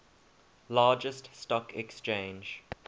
largest stock exchange